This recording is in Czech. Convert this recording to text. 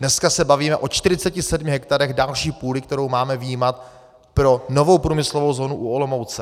Dneska se bavíme o 47 hektarech další půdy, kterou máme vyjímat pro novou průmyslovou zónu u Olomouce.